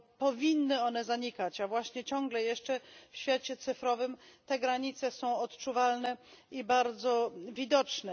Powinny one zanikać, a właśnie ciągle jeszcze w świecie cyfrowym te granice są odczuwalne i bardzo widoczne.